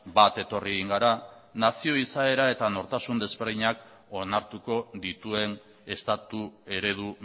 bat etorri egin gara nazio izaera eta nortasun ezberdinak onartuko dituen estatu eredu